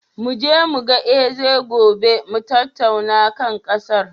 Mu je mu ga Eze gobe mu tattauna kan ƙasar.